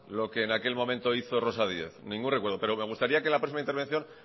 lo que en aquel momento hizo rosa díez ningún recuerdo pero me gustaría que en la próxima intervención